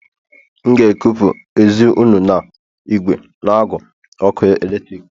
M ga-ekupụ ezi unu na igwe n'agu ọkụ eletrik